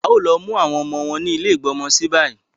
A ò lo mu àwọn ọmọ wa ni ile igbọ́mọsí bayi